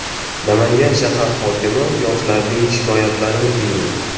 Namangan shahar hokimi yoshlarning shikoyatlarini tingladi.